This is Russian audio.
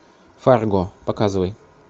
фарго показывай